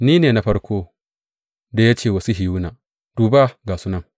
Ni ne na farkon da ya ce wa Sihiyona, Duba, ga su nan!’